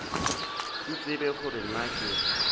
ke tsebe gore na ke